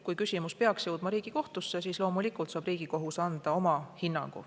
Kui küsimus peaks jõudma Riigikohtusse, siis loomulikult saab Riigikohus anda oma hinnangu.